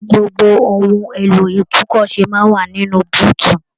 Gbogbo ohùn èlò itunkọsè máa n wà nínú búutú.